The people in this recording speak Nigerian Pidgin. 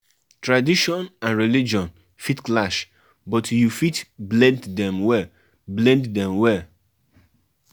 As you de waka you de waka always tell persin wey you fit trust your movement